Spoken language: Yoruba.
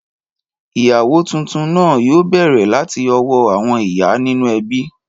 Ìyàwó tuntun náà yóò bẹ̀rẹ̀ láti ọwọ́ àwọn ìyá nínú ẹbí.